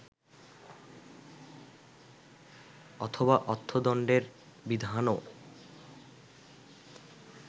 অথবা অর্থদণ্ডের বিধানও